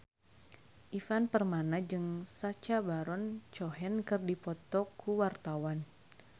Ivan Permana jeung Sacha Baron Cohen keur dipoto ku wartawan